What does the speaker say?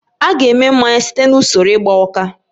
A ga-eme mmanya site na usoro igba uka